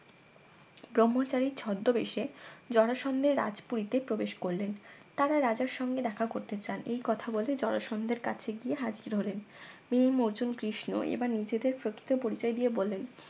ব্রহ্মচারীর ছদ্মবেশে জরাসন্ধের রাজপুরীতে প্রবেশ করলেন তারা রাজার সঙ্গে দেখা করতে চান এই কথা বলে জরাসন্ধের কাছে গিয়ে হাজির হলেন ভীম অর্জুন কৃষ্ণ এবার নিজেদের প্রকৃত পরিচয় দিয়ে বললেন